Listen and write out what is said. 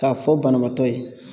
K'a fɔ banabaatɔ ye